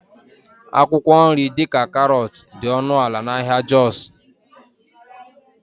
akwụkwọ nri dị ka karọt dị ọnụ ala na ahịa jos